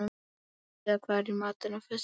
Marsa, hvað er í matinn á föstudaginn?